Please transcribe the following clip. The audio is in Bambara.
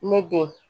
Ne den